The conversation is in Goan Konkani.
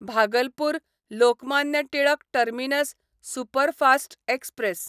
Bhagalpur Lokmanya Tilak terminus superfast express